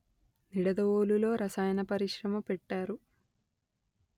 నిడదవోలు లో రసాయన పరిశ్రమ పెట్టారు